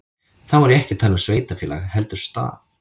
Þá er ég ekki að tala um sveitarfélag heldur stað.